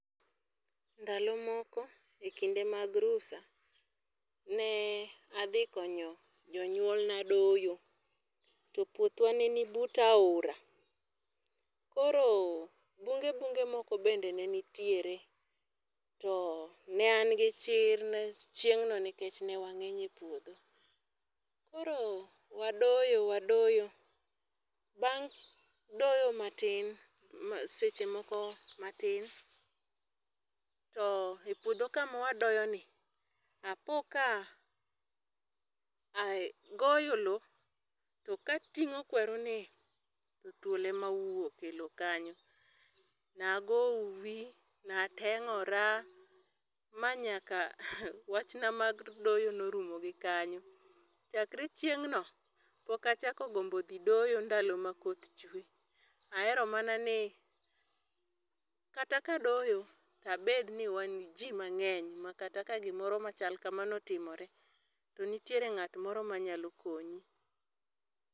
Ndalo moko e kinde mag rusa, ne adhi konyo jonywolna doyo, to puothwa ne ni but aora. Koro bunge bunge moko bende ne nitiere, to ne an gi chir chieng'no nikech ne wangény e puodho. Koro wadoyo, wadoyo, bang' doyo matin, seche moko matin. To e puodho kama wadoyo ni, apo ka agoyo lowo, to ka atingó kweru ni, to thuol ema owuok e lowo kanyo. Ne agoyo uuwi, ne atengóra, ma nyaka wachna mag doyo ne orumo gi kanyo. Chakre chieng'no, pok achako gombo dhi doyo ndalo ma koth chwe. Ahero mana ni, kata ka adoyo to abed ni wan ji mangény, makata ka gimoro machal kamano otimore, to nitiere ngát moro manyalo konyi.